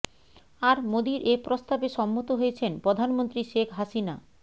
আর মোদির এ প্রস্তাবে সম্মত হয়েছেন প্রধানমন্ত্রী শেখ হাসিনা